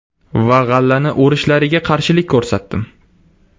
Va g‘allani o‘rishlariga qarshilik ko‘rsatdim.